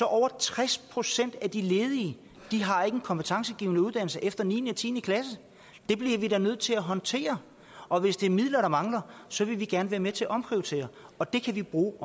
at over tres procent af de ledige ikke har en kompetencegivende uddannelse efter niende og tiende klasse det bliver vi da nødt til at håndtere og hvis det er midler der mangler så vil vi gerne være med til at omprioritere og det kan man bruge